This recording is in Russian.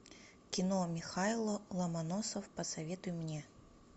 кино михайло ломоносов посоветуй мне